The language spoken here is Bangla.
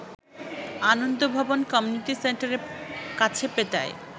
আনন্দভবন কমিউনিটি সেন্টারের কাছে পেটায়